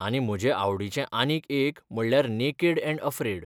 आनी म्हजे आवडीचें आनीक एक म्हणल्यार नेकेड ऍंड अफ्रेड.